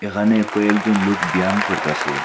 এখানে কয়েকজন লুক ব্যায়াম করতাসে।